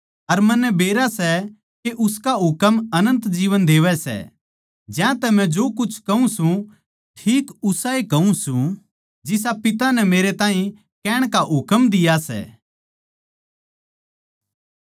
अर मन्नै बेरा सै के उसका हुकम अनन्त जीवन देवै सै ज्यांतै मै जो कुछ कहूँ सूं ठीक उसाए कहूँ सूं जिसा पिता नै मेरै ताहीं कहण का हुकम दिया सै